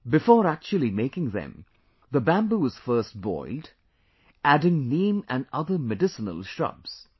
Before actually making them, the Bamboo is first boiled, adding Neem and other medicinal shrubs